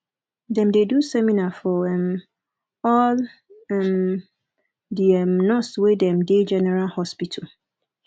dem dey do seminar for um all um di um nurse dem wey dey general hospital